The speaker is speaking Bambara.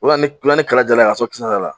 U bɛ na ni kalakala ye k'a sɔrɔ kisɛ t'a la.